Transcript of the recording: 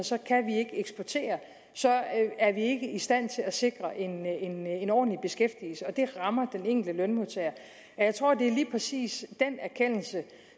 så kan vi ikke eksportere og så er vi ikke i stand til at sikre en en ordentlig beskæftigelse og det rammer den enkelte lønmodtager jeg tror at det er lige præcis den erkendelse